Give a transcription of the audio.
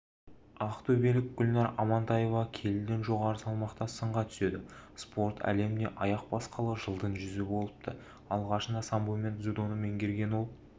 ақтөбелік гүлнар амантаева келіден жоғары салмақта сынға түседі спорт әлеміне аяқ басқалы жылдың жүзі болыпты алғашында самбо мен дзюдоны меңгерген ол